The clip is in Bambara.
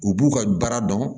U b'u ka baara dɔn